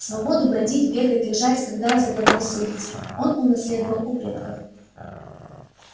свободу бродить бегать лежать когда заблагорассудится он унаследовал у предков